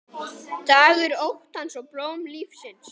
Dagur óttans og blóm lífsins